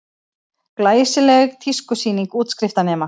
Glæsileg tískusýning útskriftarnema